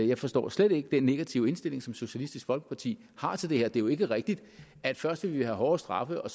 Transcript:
jeg forstår slet ikke den negative indstilling som socialistisk folkeparti har til det her det er jo ikke rigtigt at først vil vi have hårdere straffe og